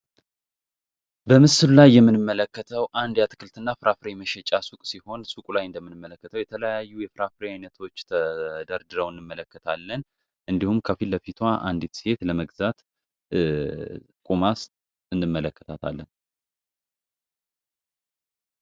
የተለያዩ ላይ የምንመለከተው አንድ የአትክልትና የፍራፍ ሬ መሸጫ ሱቅ ሲሆን የተለያዩ የስራ ፍሬ አይነቶች ተደርድረው እንመለከታለን እንዲሁም ከፊት ለፊቱ አንድ ሴት ለመግዛት ቁማ እንመለከታለን።